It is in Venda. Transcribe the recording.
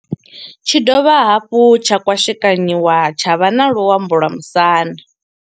Tshi ya dovha hafhu tsha kwashekanyiwa tsha vha na luambo lwa musanda.